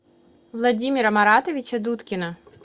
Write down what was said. владимира маратовича дудкина